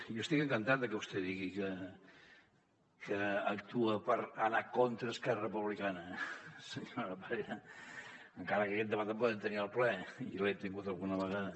jo estic encantat de que vostè digui que actua per anar contra esquerra republicana senyora parera encara que aquest debat el podem tenir al ple i l’hem tingut alguna vegada